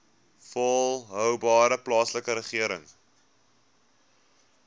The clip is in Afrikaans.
volhoubare plaaslike regering